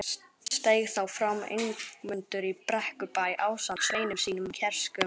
Steig þá fram Ingimundur í Brekkubæ ásamt sveinum sínum kerskum.